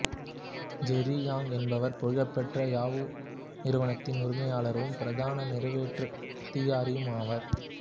Jerry Yang என்பவர் புகழ்பெற்ற Yahoo நிறுவனத்தின் உரிமையாளரும் பிரதான நிறைவேற்று அதிகாரியுமாவார்